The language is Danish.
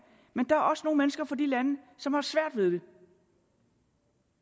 men der er også nogle mennesker fra de lande som har svært ved det